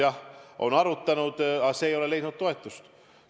Jah, on arutanud, aga see ei ole leidnud toetust.